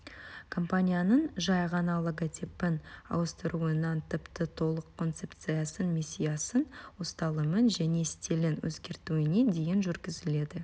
компанияның жай ғана логотипін ауыстыруынан тіпті толық концепциясын миссиясын ұсталымын және стилін өзгертуіне дейін жүргізіледі